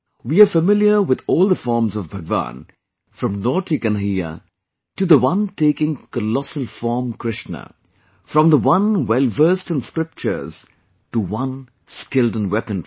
We are familiar with all the forms of Bhagwan, from naughty Kanhaiya to the one taking Colossal form Krishna, from the one well versed in scriptures to one skilled in weaponary